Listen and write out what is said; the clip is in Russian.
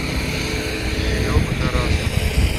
серегу тарасова